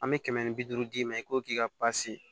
An bɛ kɛmɛ ni bi duuru d'i ma i ko k'i ka